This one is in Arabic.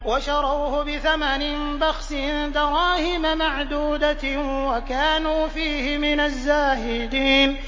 وَشَرَوْهُ بِثَمَنٍ بَخْسٍ دَرَاهِمَ مَعْدُودَةٍ وَكَانُوا فِيهِ مِنَ الزَّاهِدِينَ